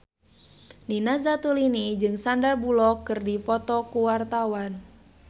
Nina Zatulini jeung Sandar Bullock keur dipoto ku wartawan